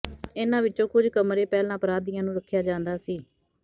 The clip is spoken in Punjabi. ਇਨ੍ਹਾਂ ਵਿਚੋਂ ਕੁਝ ਕਮਰੇ ਪਹਿਲਾਂ ਅਪਰਾਧੀਆਂ ਨੂੰ ਰੱਖਿਆ ਜਾਂਦਾ ਸੀ